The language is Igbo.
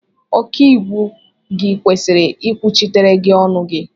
Ọkàiwu gị kwesịrị ikwuchitere gị ọnụ gi